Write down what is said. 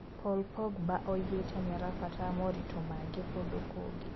Paul Pogba oigĩte nĩarabatara moritũ mangĩ kũndũ kũngĩ